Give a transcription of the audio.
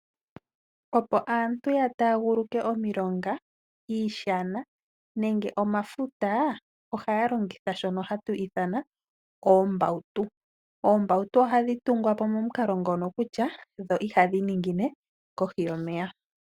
Opo aantu ya taguluke omilonga ,iishana nenge omafuta ohaya longitha shono hatu ithana oombautu . Oombautu ohadhi tungwapo momukalo ngono kutya dho iha dhi ningine kohi yomeya.